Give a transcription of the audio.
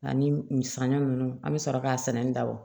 Ani misɛn ninnu an bɛ sɔrɔ k'a sɛnɛni dabɔ